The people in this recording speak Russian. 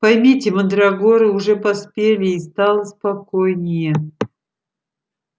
поймите мандрагоры уже поспели и стало спокойнее